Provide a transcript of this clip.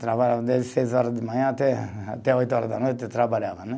Trabalhava desde seis horas de manhã até, até oito horas da noite, trabalhava, né?